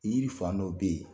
Yiriri fan dɔ bɛ yen